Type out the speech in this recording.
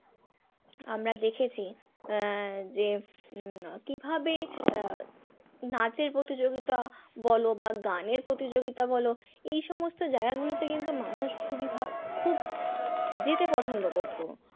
আমরা দেখেছি আহ যে উম কিভাবে আহ নাচের প্রতিযোগিতা বলো বা গানের প্রতিযোগিতা বলো এই সমস্ত জায়গা গুলোতে কিন্তু মানুষ খুবই ভাবে খুব যেতে পছন্দ করত।